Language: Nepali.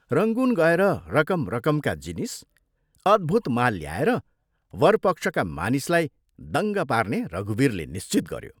रंगून गएर रकम रकमका जिनिस, अद्भुत माल ल्याएर वरपक्षका मानिसलाई दङ्ग पार्ने रघुवीरले निश्चित गयो।